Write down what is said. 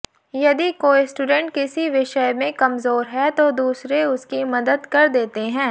यदि कोई स्टूडेंट किसी विषय में कमजोर है तो दूसरे उसकी मदद कर देते हैं